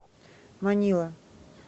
манила